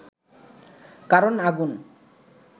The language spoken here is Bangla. কারণ আগুন